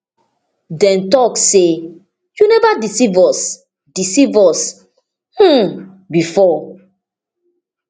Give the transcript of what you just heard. dem tok say you neva deceive us deceive us um bifor